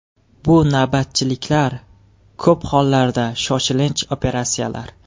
Bu navbatchiliklar, ko‘p holatlarda shoshilinch operatsiyalar.